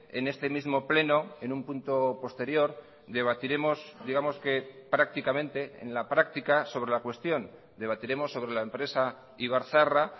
en este mismo pleno en un punto posterior debatiremos digamos que prácticamente en la práctica sobre la cuestión debatiremos sobre la empresa ibarzaharra